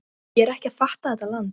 Ég er ekki að fatta þetta land.